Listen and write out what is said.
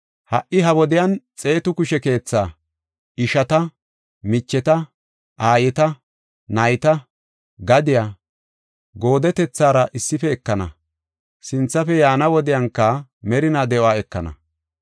ha77i ha wodiyan xeetu kushe keetha, ishata, micheta, aayeta, nayta, gadiya, goodetethara issife ekana. Sinthafe yaana wodiyanka merinaa de7uwa ekana.